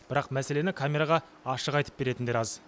бірақ мәселені камераға ашық айтып беретіндер аз